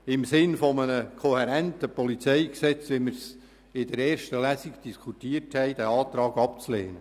Im Sinne eines kohärenten PolG, wie wir es während der ersten Lesung diskutiert haben, bitte ich Sie, diesen Antrag abzulehnen.